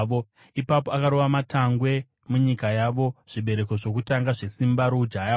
Ipapo akarova matangwe munyika yavo, zvibereko zvokutanga zvesimba roujaya hwavo.